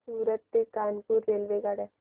सूरत ते कानपुर रेल्वेगाड्या